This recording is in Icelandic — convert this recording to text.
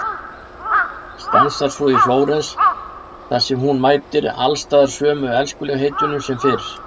Stansar svo í Flórens þar sem hún mætir alls staðar sömu elskulegheitunum sem fyrr.